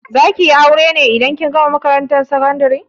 Za ki yi aure ne indan kin gama makarantar sakandari?